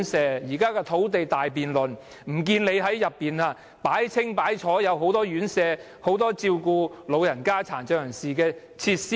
在現時的土地大辯論，不見你說要興建很多院舍，設置很多照顧老人家或殘障人士的設施？